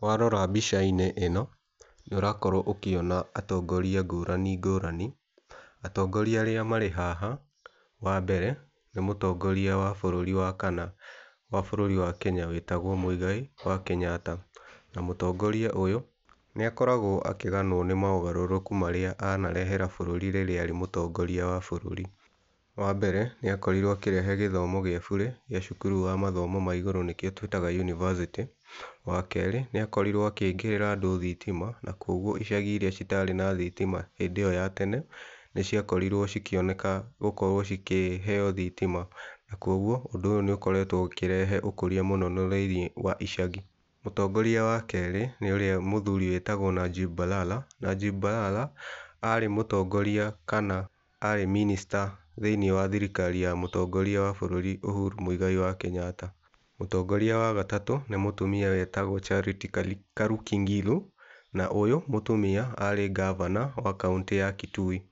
Warora mbica-inĩ ĩno nĩ ũrakorwo ũkĩona atongoria ngũrani ngũrani. Atongoria arĩa marĩ haha wa mbere nĩ mũtongoria wa bũrũri wa kana wa bũrũri wa Kenya wĩtagwo Mũigai wa Kenyatta. Na mũtongoria ũyũ nĩ akoragwo akĩganwo nĩ maũgarũrũku marĩa anarehera bũrũri rĩrĩa arĩ mũtongoria wa bũrũri. Wa mbere nĩ akorirwo akĩrehe gĩthomo gĩa burĩ gĩa cukuru wa mathomo ma igũrũ, nĩkĩo twĩtaga yunivasĩtĩ. Wa kerĩ nĩ akorirwo agĩĩkĩrĩra andũ thitima na kwoguo icagi irĩa itarĩ na thitima hĩndĩ ĩyo ya tene, nĩ ciakorirwo cikĩoneka gũkorwo cikĩheo thitima. Na kwoguo ũndũ ũyũ nĩ ũkoretwo ũkĩrehe ũkũria mũno thĩiniĩ wa icagi. Mũtongoria wa kerĩ nĩ ũrĩa mũthuri wĩtagwo Najib Balala. Najib Balala arĩ mũtongoria kana arĩ minister thĩiniĩ wa thirikari ya mũtongoria wa bũrũri Ũhuru Mũigai wa Kenyatta. Mũtongoria wa gatatũ nĩ mũtumia wĩtagwo Charity Kaluki Ngilu. Na ũyũ mũtumia arĩ Gavana wa kaũntĩ ya Kitui.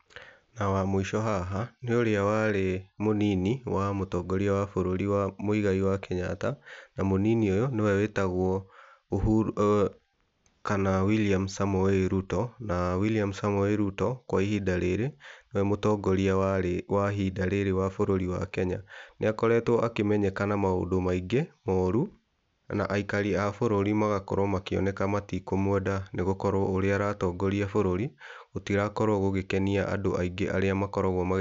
Na wa mũico haha nĩ ũrĩa warĩ mũnini wa mũtongoria wa Mũigai wa Kenyatta na mũnini ũyũ nĩwe wĩtagwo William Samoei Ruto. Na William Samoei Ruto kwa ihinda rĩrĩ nĩwe mũtongoria wa ihinda rĩri wa bũrũri wa Kenya. Nĩ akoretwo akĩmenyeka na maũndũ maingĩ moru, na aikari a bũrũri magakorwo makĩoneka matikũmwenda. Nĩ gũkorwo ũrĩa aratongoria bũrũri gũtirakorwo gũgĩkenia andũ aingĩ arĩa makoragwo ma...